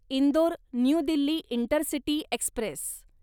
Indore new Delhi intercity Express